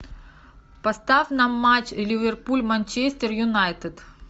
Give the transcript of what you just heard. поставь нам матч ливерпуль манчестер юнайтед